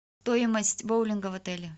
стоимость боулинга в отеле